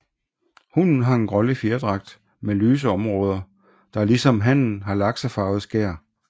Hunnen har en grålig fjerdragt med lyse områder der ligesom hannen har laksefarvet skær